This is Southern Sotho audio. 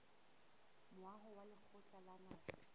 moaho wa lekgotla la naha